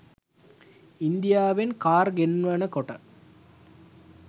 ඉන්දියාවෙන් කාර් ගෙන්වනකොට